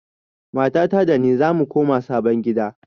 Matata da ni zamu koma sabon gida.